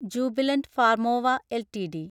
Jubilant Pharmova LTD